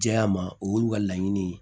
Diya ma o y'olu ka laɲini ye